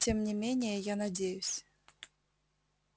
тем не менее я надеюсь